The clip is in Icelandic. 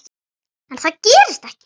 En það gerist ekki.